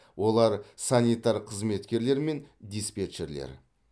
олар санитар қызметкерлер мен диспетчерлер